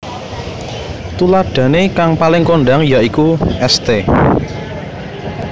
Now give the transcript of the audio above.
Tuladahané kang paling kondhang ya iku St